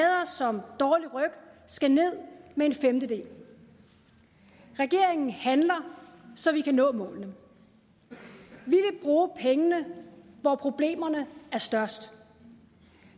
som dårlig ryg skal ned med en femtedel regeringen handler så vi kan nå målene vi vil bruge pengene hvor problemerne er størst